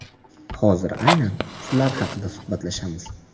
Hozir aynan shular haqida suhbatlashamiz.